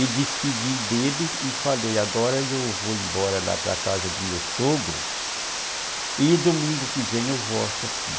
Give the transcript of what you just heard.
E despedi dele e falei, agora eu vou embora lá para a casa do meu sogro e domingo que vem eu volto aqui.